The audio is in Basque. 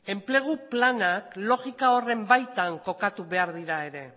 enplegu lanak logika horren baitan kokatu behar dira ere